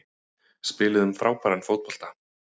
Spiluðum frábæran fótbolta